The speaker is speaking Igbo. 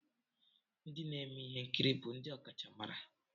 Ndị na-eme ihe nkiri bụ ndị ọkachamara?